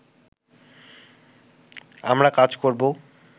আমরা কাজ করব